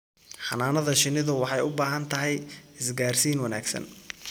Xannaanada shinnidu waxay u baahan tahay isgaarsiin wanaagsan.